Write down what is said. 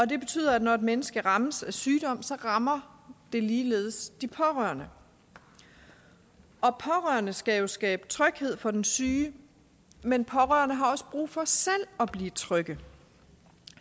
det betyder at når et menneske rammes af sygdom rammer det ligeledes de pårørende og pårørende skal jo skabe tryghed for den syge men pårørende har også brug for selv at blive trygge